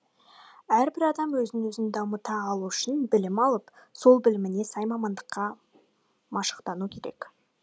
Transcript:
әрбір адам өзін өзі дамыта алу үшін білім алып сол біліміне сай мамандыққа машықтану керек